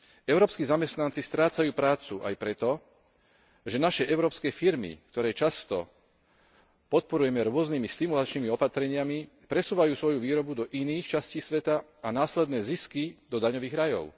Európski zamestnanci strácajú prácu aj preto, že naše európske firmy, ktoré často podporujeme rôznymi stimulačnými opatreniami, presúvajú svoju výrobu do iných častí sveta a následné zisky do daňových rajov.